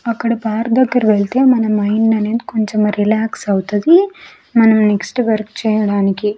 అక్కడ బార్ దగ్గర వెళ్తే మన మైండ్ అనేది కొంచెం రిలాక్స్ అవుతది మనం నెక్స్ట్ వర్క్ చేయడానికి.